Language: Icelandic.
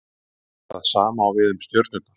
það sama á við um stjörnurnar